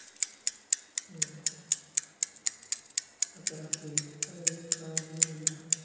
হম আর যারা কুরে তাদের ও জীবন বৃথা